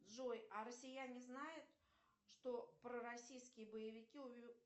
джой а россияне знают что пророссийские боевики